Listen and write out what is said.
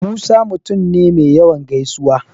Musa mutum ne me yawan gaisuwa.